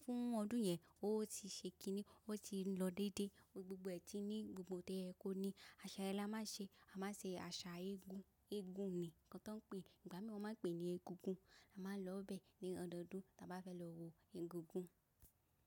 fún ọdún yẹn, ó ti ṣe kiní, ó ti lọ dédé. Gbogbo ẹ̀tí ní gbogbo tí oyè kó ní, àṣà ye ní a máa ṣe, a máa ṣe àṣà eégún. Eégún ni nǹkan tí wọ́n ń pè é, ìgbà mìíràn wọ́n máa ń pè é ní egúngún. A máa lọ bẹ̀ ní ọdọdún tí a bá fẹ́ lọ wo egúngún.